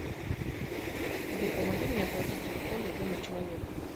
сбер помоги мне оплатить телефон другому человеку